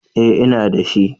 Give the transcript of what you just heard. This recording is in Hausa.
Eh, ina da shi